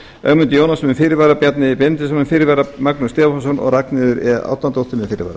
ögmundur jónasson með fyrirvara bjarni benediktsson með fyrirvara magnús stefánsson og ragnheiður e árnadóttir með fyrirvara